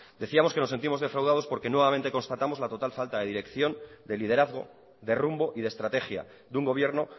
decíamos que nos sentimos defraudados porque nuevamente constatamos la total falta de dirección de liderazgo de rumbo y de estrategia de un gobierno